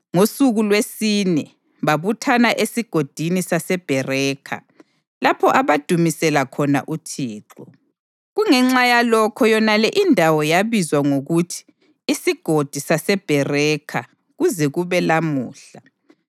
Ngosuku lwesine babuthana eSigodini saseBherakha, lapho abadumisela khona uThixo. Kungenxa yalokho yonale indawo yabizwa ngokuthi iSigodi saseBherakha kuze kube lamuhla.